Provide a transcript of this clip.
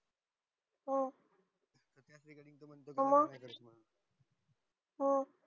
हो मं हम्म